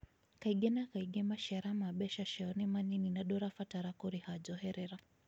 kaĩngĩ kaingi macĩara mabeca cîao ni manĩnĩ na ndũrabatara kũrĩha njoherera.